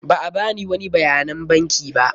Ba a bani wani bayanan banki ba.